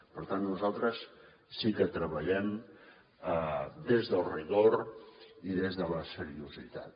per tant nosaltres sí que treballem des del rigor i des de la seriositat